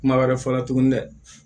Kuma wɛrɛ fɔ la tuguni dɛ